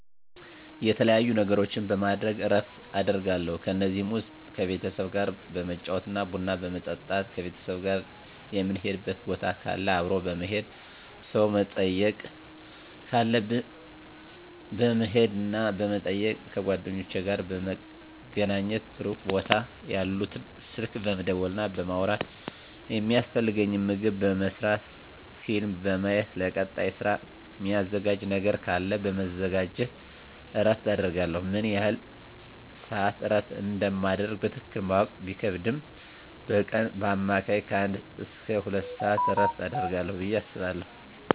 የተለያዩ ነገሮችን በማድረግ እረፍት አደርጋለሁ ከነዚህም ውስጥ ከቤተሰብ ጋር በመጫወት ቡና በመጠጣት ከቤተሰብ ጋር ምንሄድበት ቦታ ካለ አብሮ በመሄድ ሰው መጠየቅ ካለብን በመሄድና በመጠየቅ ከጓደኞቼ ጋር በመገናኘትና ሩቅ ቦታ ያሉትን ስልክ በመደወልና በማውራት የሚያስፈልገኝን ምግብ በመስራት ፊልም በማየት ለቀጣይ ስራ ሚዘጋጅ ነገር ካለ በማዘጋጀት እረፍት አደርጋለሁ። ምን ያህል ስዓት እረፍት እንደማደርግ በትክክል ማወቅ ቢከብድም በቀን በአማካኝ ከአንድ እስከ ሁለት ሰዓት እረፍት አደርጋለሁ ብየ አስባለሁ።